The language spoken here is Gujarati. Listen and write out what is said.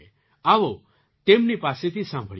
આવો તેમની પાસેથી સાંભળીએ